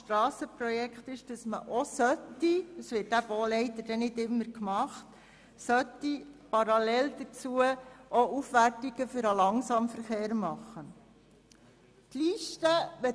Strassenprojekten sollten immer Aufwertungen des Langsamverkehrs realisiert werden, wobei dies nicht immer gemacht wird.